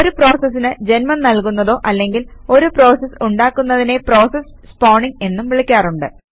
ഒരു പ്രോസസിന് ജന്മം നൽകുന്നതോ അല്ലെങ്കിൽ ഒരു പ്രോസസ് ഉണ്ടാക്കുന്നതിനെ പ്രോസസ് സ്പോണിംഗ് എന്നും വിളിക്കാറുണ്ട്